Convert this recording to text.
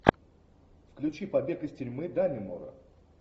включи побег из тюрьмы даннемора